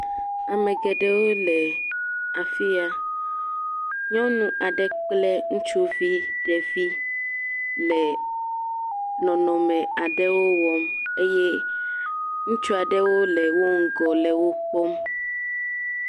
Ame geɖewo le afi ya, nyɔnu aɖe kple ŋutsuvi ɖevi le nɔnɔme aɖe wɔm eye ŋutsu aɖewo le wo ŋgɔ le wo kpɔm.